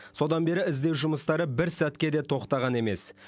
содан бері іздеу жұмыстары бір сәтке де тоқтаған емес